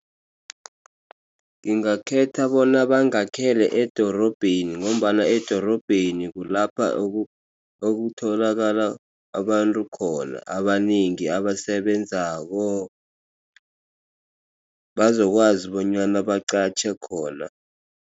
Ngingakhetha bona bangakhele edorobheni ngombana edorobheni kulapha okutholakala abantu khona abanengi abasebenzako bazokwazi bonyana baqatjhe khona.